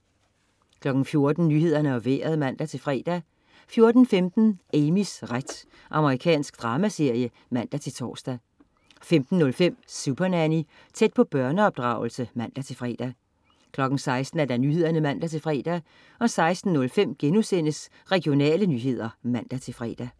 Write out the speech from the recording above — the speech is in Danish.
14.00 Nyhederne og Vejret (man-fre) 14.15 Amys ret. Amerikansk dramaserie (man-tors) 15.05 Supernanny. Tæt på børneopdragelse (man-fre) 16.00 Nyhederne (man-fre) 16.05 Regionale nyheder* (man-fre)